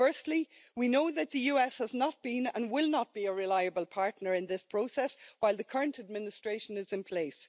Firstly, we know that the US has not been, and will not be, a reliable partner in this process while the current administration is in place.